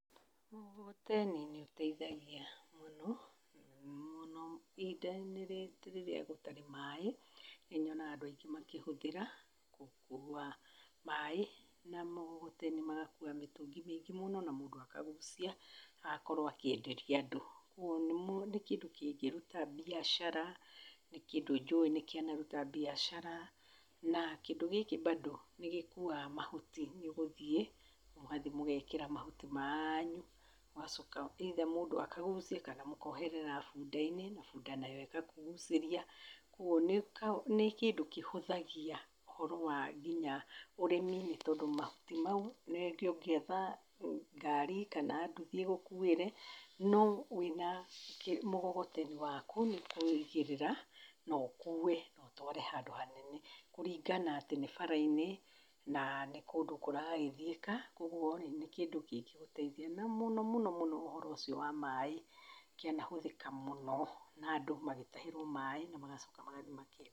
Mũgogoteni ni ũteithagia mũno, mũno ihĩnda-inĩ rĩrĩa gũtarĩ maaĩ, nĩ nyonaga andũ aingĩ makĩhũthĩra gũkuua maaĩ na mũgogoteni, magakuua mĩtũngi mĩingĩ mũno na mũndũ akagucia, agakorwo akĩenderia andũ. Kwoguo nĩ kĩndũ kĩngĩruta mbiacara, nĩ kĩndũ njũĩ nĩ kĩana ruta mbiacara. Na kĩndũ gĩkĩ bado nĩ gĩkuaga mahuti. Nĩ ũgũthiĩ, mũgathi mũgeekĩra mahuti manyu ũgacoka either mũndũ akagucia kana mũkooherera bunda-inĩ, na bunda nayo ĩgakũgucĩria. Kwoguo nĩ nĩ kĩndũ kĩhũthagia ũhoro wa nginya ũrĩmĩ nĩ tondũ mahuti mau, rĩngĩ ũngĩetha ngari kana nduthi ĩgũkuĩre. No wĩna mũgogoteni waku, nĩ kũigĩrĩrĩra na ũkuue na ũtware handũ hanene, kũringana atĩ nĩ bara-inĩ na nĩ kũndũ kũragĩthiĩka. Kwoguo, nĩ kĩndũ kĩngĩgũteithia na mũnomũno mũno ũhoro ũcio wa maaĩ, kĩana hũthĩka mũno na andũ magĩtahĩrwo maaĩ na magacoka magathiĩ makeenderio.